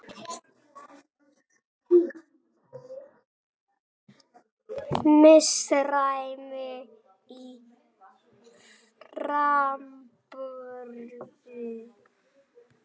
Misræmi í framburði